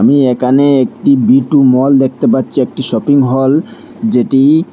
আমি এখানে একটি ভীটু মল দেখতে পাচ্ছি একটি শপিং হল যেটি--